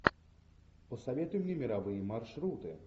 посоветуй мне мировые маршруты